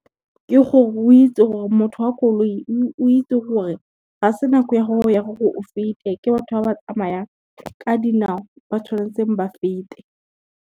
Ke gore o itse gore motho wa koloi o itse gore, ga se nako ya gago ya gore o fete ke batho ba ba tsamayang ka dinao ba tshwanetseng ba fete.